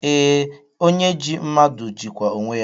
Ee, onye ji mmadụ jikwa onwe ya